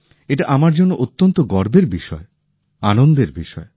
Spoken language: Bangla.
এটা আমার জন্য অত্যন্ত গর্বের বিষয় আনন্দের বিষয়